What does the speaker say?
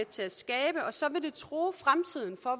til at skabe og så vil det true fremtiden for